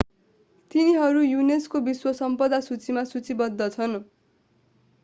तिनीहरू युनेस्को विश्व सम्पदा सूचीमा सूचीबद्ध छन्